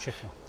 Všechno.